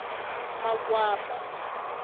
makwapa